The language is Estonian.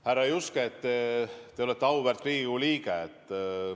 Härra Juske, te olete auväärt Riigikogu liige.